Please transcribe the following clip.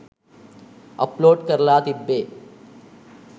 Upload කරලා තිබ්බේ.